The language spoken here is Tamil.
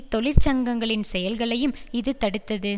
தொழிற்சங்கங்களின் செயல்களையும் இது தடுத்தது